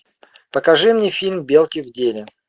покажи мне фильм белки в деле